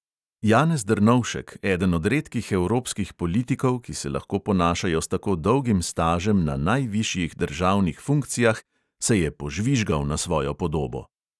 Janez drnovšek, eden od redkih evropskih politikov, ki se lahko ponašajo s tako dolgim stažem na najvišjih državnih funkcijah, se je požvižgal na svojo podobo.